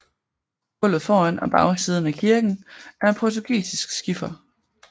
Gulvet foran og bagsiden af kirken er af portugisisk skifer